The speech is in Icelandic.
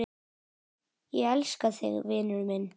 Ég elska þig, vinur minn.